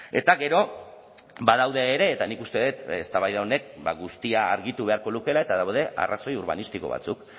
eta gero badaude ere eta nik uste dut eztabaida honek ba guztia argitu beharko lukeela eta daude arrazoi urbanistiko batzuk